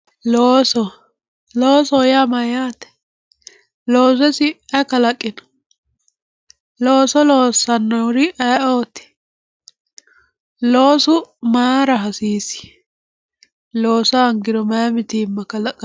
Looso, loosoho yaa mayyate, looso isi ayi kalaqino, looso loossanori isi ayeeoti, loosu mayra hasiisi, loossa hoongiro mayi mitima kalaqantano.